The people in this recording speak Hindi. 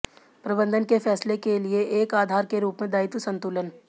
प्रबंधन के फैसले के लिए एक आधार के रूप में दायित्व संतुलन